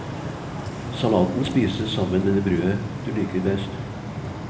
Salaten spises sammen med det brødet du liker best.